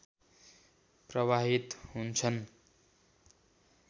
प्रवाहित हुन्छन्